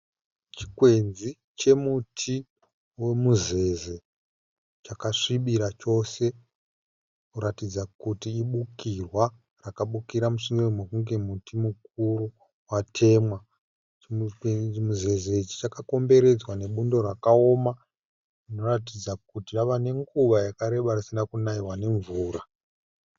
Chikwenzi chemuti weMuzeze chakasvibira chose kuratidza kuti ibukirwa rakabukira musure mekunge muti mukuru watemwa. Chimuzeze ichi chakakomboredzwa nebundo rakaoma rinoratidza kuti rava nenguva yakareba risina kunaiwa nemvura.